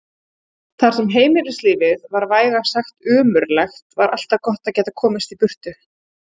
Þar sem heimilislífið var vægast sagt ömurlegt var alltaf gott að geta komist í burtu.